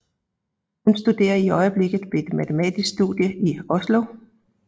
Han studerer i øjeblikket ved et matematisk studie i Oslo